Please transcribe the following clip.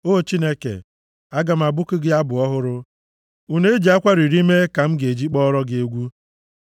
O Chineke, aga m abụku gị abụ ọhụrụ. Une e ji akwara iri mee ka m ga-eji kpọọrọ gị egwu;